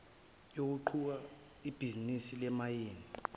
yokuqhuba ibhizinisi lezimayini